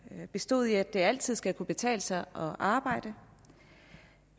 består i at det altid skal kunne betale sig at arbejde